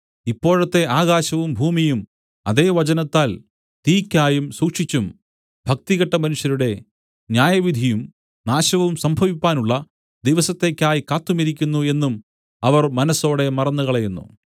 ഇപ്പോഴത്തെ ആകാശവും ഭൂമിയും അതേ വചനത്താൽ തീയ്ക്കായി സൂക്ഷിച്ചും ഭക്തികെട്ട മനുഷ്യരുടെ ന്യായവിധിയും നാശവും സംഭവിപ്പാനുള്ള ദിവസത്തേക്കായി കാത്തുമിരിക്കുന്നു എന്നും അവർ മനസ്സോടെ മറന്നുകളയുന്നു